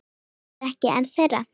Ég er ekki ein þeirra.